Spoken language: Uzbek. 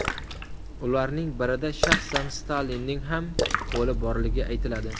Ularning birida shaxsan Stalinning ham qo‘li borligi aytiladi.